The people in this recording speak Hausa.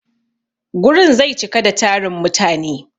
Gurin zai cika da tarin mutane.